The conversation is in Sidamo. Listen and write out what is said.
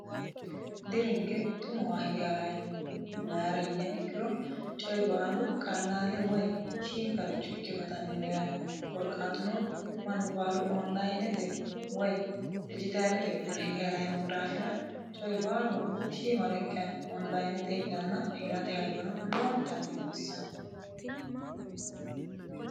dirinke xumowa hige harayino mayira yiniha ikkiro coyi baalu qallaale woy shiiniqaricho ikke gatannino yaate koorkatino mannu baalu onlayinete woy dijitaalete widira hige ha'rayi noo daafira coyi baalunku shiimarekkaani onlayinete hidhanna hirate hayyono lowontanni baxissanni